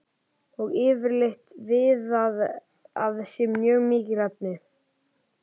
og yfirleitt viðað að sér mjög miklu efni.